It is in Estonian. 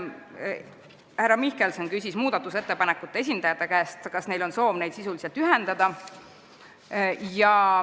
Härra Mihkelson küsis muudatusettepanekute esitajate käest, kas neil on soov ettepanekuid sisuliselt ühendada.